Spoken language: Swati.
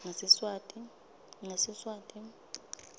ngesiswati